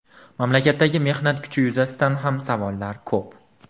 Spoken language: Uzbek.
Mamlakatdagi mehnat kuchi yuzasidan ham savollar ko‘p.